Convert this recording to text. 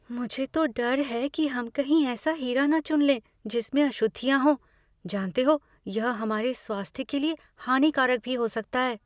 मुझे तो डर है कि हम कहीं ऐसा हीरा न चुन लें जिसमें अशुद्धियाँ हो। जानते हो, यह हमारे स्वास्थ्य के लिए हानिकारक भी हो सकता है।